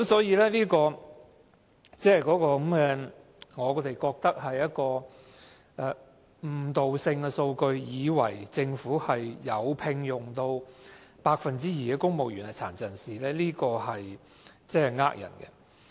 因此，我認為這是誤導性的數據，令人以為政府的公務員隊伍有 2% 是殘疾人士，但這是騙人的。